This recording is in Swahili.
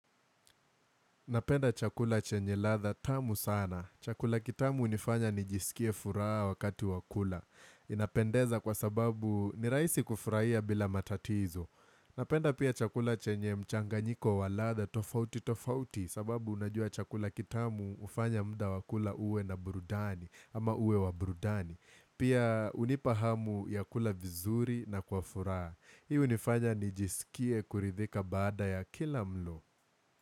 Napenda chakula chenye ladha tamu sana. Chakula kitamu hunifanya nijisikie furaha wakati wa kula. Inapendeza kwa sababu nirahisi kufurahia bila matatizo. Napenda pia chakula chenye mchanganyiko wa ladha tofauti tofauti sababu unajua chakula kitamu hufanya muda wakula uwe na burdani ama uwe wa burdani. Pia hunipa hamu ya kula vizuri na kwa furaha. Hii hunifanya nijisikie kuridhika baada ya kila mlo.